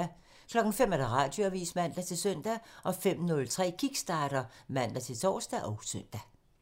05:00: Radioavisen (man-søn) 05:03: Kickstarter (man-tor og søn)